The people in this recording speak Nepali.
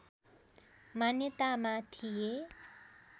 मान्यतामा थिए